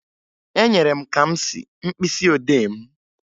Enyere m Kamsi mkpịsịodee m